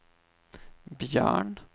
Björn